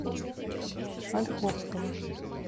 ольховского